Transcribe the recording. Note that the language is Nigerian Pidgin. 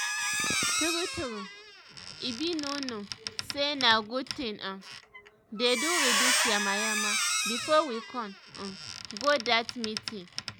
tru tru i bin no know say na good thing um to dey reduce yamayama before we come um go that meeting